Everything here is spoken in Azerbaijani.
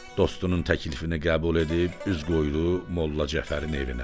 Dostunun təklifini qəbul edib üz qoydu Molla Cəfərin evinə.